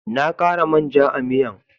Na kara man ja a'miyan.